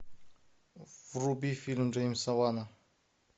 вруби фильм джеймса вана